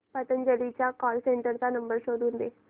पतंजली च्या call centre चा number शोधून दे